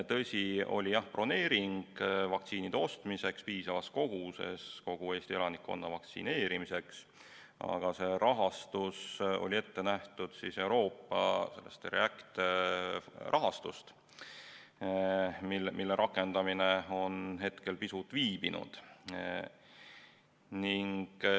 Tõsi, oli broneering vaktsiinide ostmiseks piisavas koguses kogu Eesti elanikkonna vaktsineerimiseks, aga see raha oli ette nähtud Euroopa REACT-EU rahastust, mille rakendamine on hetkel pisut viibinud.